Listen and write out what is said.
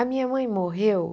A minha mãe morreu